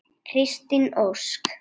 Kristín Ósk.